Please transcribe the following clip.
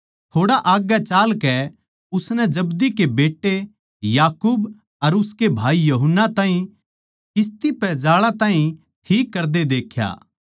थोड़ा आग्गै चालकै उसनै जब्दी के बेट्टे याकूब अर उसकै भाई यूहन्ना ताहीं किस्ती पै जाळां ताहीं ठीक करदे देख्या